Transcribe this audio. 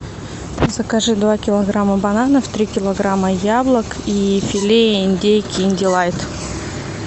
закажи два килограмма бананов три килограмма яблок и филе индейки индилайт